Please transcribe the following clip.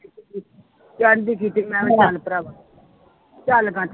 ਦੀ ਕੀਤੀ ਮੈਂ ਕਿਹਾ ਚੱਲ ਭਰਾਵਾ